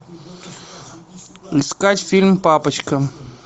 искать фильм папочка